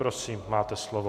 Prosím, máte slovo.